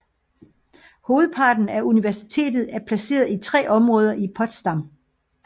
Hovedparten af universitetet er placeret i tre områder i Potsdam